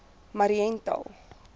mariental